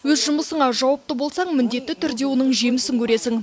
өз жұмысыңа жауапты болсаң міндетті түрде оның жемісін көресің